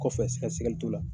kɔfɛ sɛgɛsɛgɛli t'o la.